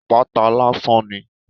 Apata lásán ni.